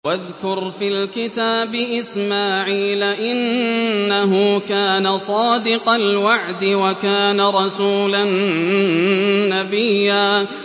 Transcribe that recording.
وَاذْكُرْ فِي الْكِتَابِ إِسْمَاعِيلَ ۚ إِنَّهُ كَانَ صَادِقَ الْوَعْدِ وَكَانَ رَسُولًا نَّبِيًّا